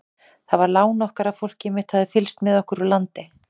Það var lán okkar að fólkið mitt hafði fylgst með okkur úr landi.